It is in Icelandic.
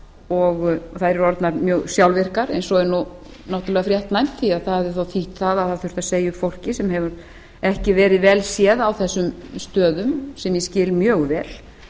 og þær eru orðnar mjög sjálfvirkar sem er þó fréttnæmt því það hefði þýtt það að það þurfti að segja upp fólki sem hefur ekki verið vel séð á þessum stöðum sem ég skil mjög vel